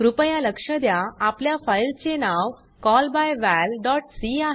कृपया लक्ष द्या आपल्या फाइल चे नाव callbyvalसी